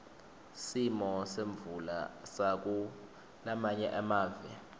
simo semvula sakulamanye amave